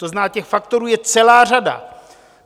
To znamená, těch faktorů je celá řada.